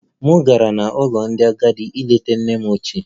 M gara n'ụlọ ndị agadi ileta nne m ochie